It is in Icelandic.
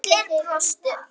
Allir brostu.